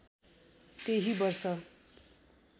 त्यही वर्ष